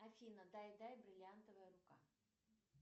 афина дай дай бриллиантовая рука